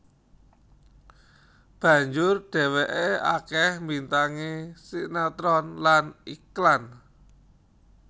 Banjur dheweke akeh mbintangi sinetron lan iklan